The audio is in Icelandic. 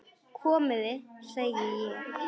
Komiði, segi ég!